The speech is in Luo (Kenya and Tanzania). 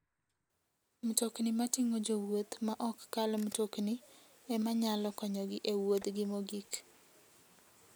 Mtokni mating'o jowuoth ma ok kal mtokni ema nyalo konyogi e wuodhgi mogik.